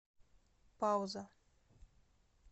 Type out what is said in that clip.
пауза